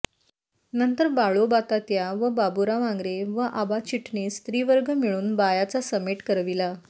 नंतर बाळोबातात्या व बाबुराव आंग्रे व आबा चिटणीस त्रिवर्ग मिळून बायाचा समेट करविला